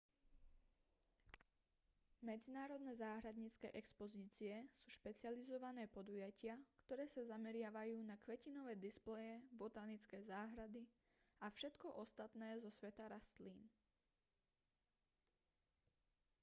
medzinárodné záhradnícke expozície sú špecializované podujatia ktoré sa zameriavajú na kvetinové displeje botanické záhrady a všetko ostatné zo sveta rastlín